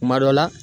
Kuma dɔ la